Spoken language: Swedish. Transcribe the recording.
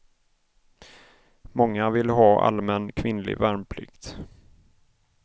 Många vill ha allmän kvinnlig värnplikt.